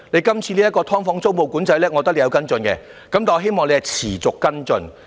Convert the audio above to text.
今次這項"劏房"租務管制，我覺得你有跟進，亦希望你能持續跟進。